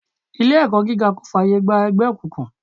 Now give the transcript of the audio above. Ilé ẹ̀kọ́ gíga kò fààyè gba ẹgbẹ́ òkùnkùn.